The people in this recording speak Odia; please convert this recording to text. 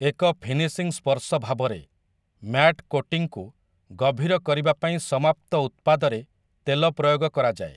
ଏକ ଫିନିଶିଂ ସ୍ପର୍ଶ ଭାବରେ, ମ୍ୟାଟ୍ କୋଟିଂକୁ ଗଭୀର କରିବା ପାଇଁ ସମାପ୍ତ ଉତ୍ପାଦରେ ତେଲ ପ୍ରୟୋଗ କରାଯାଏ ।